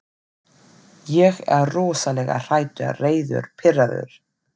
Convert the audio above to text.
Ég er rosalega hræddur, reiður, pirraður.